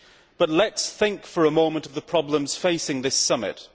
But let us think for a moment of the problems facing this summit.